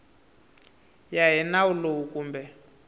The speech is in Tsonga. ya hi nawu lowu kumbe